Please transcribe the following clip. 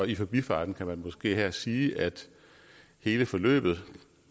i forbifarten kunne man her sige at hele forløbet